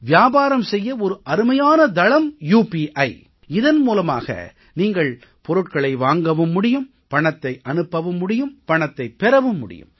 வியாபாரம் செய்ய ஒரு அருமையான தளம் உபி இதன் மூலமாக நீங்கள் பொருட்களை வாங்கவும் முடியும் பணத்தை அனுப்பவும் முடியும் பணத்தைப் பெறவும் முடியும்